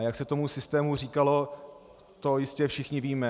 A jak se tomu systému říkalo, to jistě všichni víme.